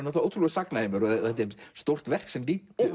ótrúlegur sagnaheimur og þetta er stórt verk sem